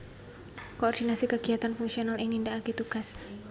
Koordinasi kagiyatan fungsional ing nindakaké tugas